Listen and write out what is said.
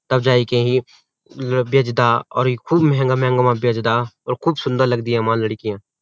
तब जाएके ही बेचदा और ये खूब मेंहंगा-मेहंगा और खूब सुन्दर लगदी यामा लडकियां।